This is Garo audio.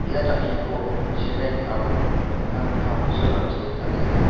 ia jangkiko cement aro dingtang dingtang silrangchi tariaha.